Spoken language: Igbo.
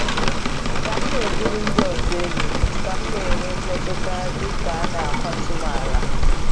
Ka m na-ebuli ndị ọzọ elu, ka m na-enwe mmetụta dị ka a na-akwatu m ala.